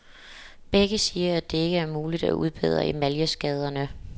Begge siger, at det ikke er muligt selv at udbedre emaljeskaderne.